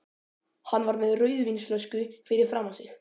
Hann var með rauðvínsflösku fyrir framan sig.